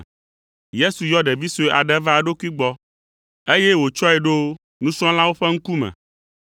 Yesu yɔ ɖevi sue aɖe va eɖokui gbɔ, eye wòtsɔe ɖo nusrɔ̃lawo ƒe ŋkume.